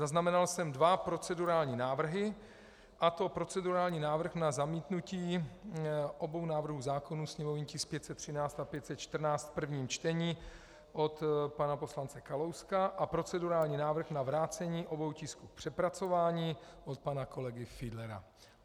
Zaznamenal jsem dva procedurální návrhy, a to procedurální návrh na zamítnutí obou návrhů zákonů, sněmovní tisk 513 a 514 v prvním čtení, od pana poslance Kalouska a procedurální návrh na vrácení obou tisků k přepracování od pana kolegy Fiedlera.